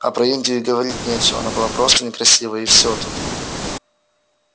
а про индию и говорить нечего она была просто некрасива и всё тут